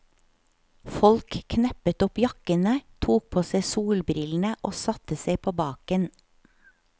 Folk kneppet opp jakkene, tok på seg solbrillene og satte seg på baken.